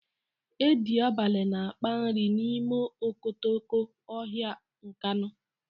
Edi abalị na-akpa nri n'ime okotoko ọhịa Nkanu.